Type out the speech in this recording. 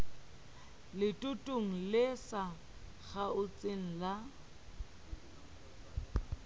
letootong le sa kgaotseng la